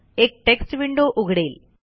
एक text window उघडेल